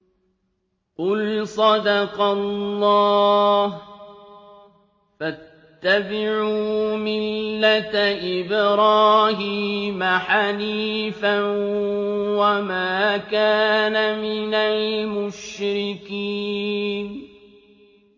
قُلْ صَدَقَ اللَّهُ ۗ فَاتَّبِعُوا مِلَّةَ إِبْرَاهِيمَ حَنِيفًا وَمَا كَانَ مِنَ الْمُشْرِكِينَ